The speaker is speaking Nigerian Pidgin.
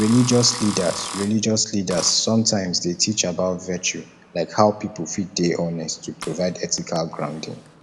religious leaders religious leaders sometimes dey teach about virtue like how pipo fit dey honest to provide ethical grounding